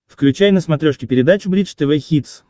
включай на смотрешке передачу бридж тв хитс